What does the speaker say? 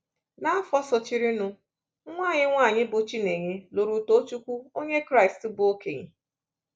N’afọ sochirinụ, nwa anyị nwanyị, bụ́ Chinenye, lụrụ Tochukwu, onye Kraịst bụ́ okenye.